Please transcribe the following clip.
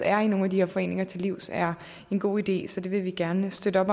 er i nogle af de her foreninger til livs er en god idé så det vil vi gerne støtte